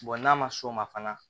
n'a ma s'o ma fana